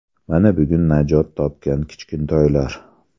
Mana bugun najot topgan kichkintoylar”.